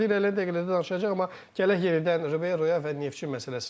Biz bu barədə irəliləyən dəqiqələrdə danışacağıq, amma gələk yenidən Riberoya və Neftçi məsələsinə.